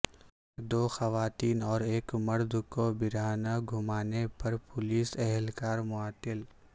دو خواتین اور ایک مرد کو برہنہ گھمانے پر پولیس اہلکار معطل